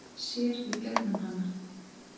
Sér í gegnum hana.